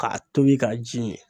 K'a tobi k'a ji min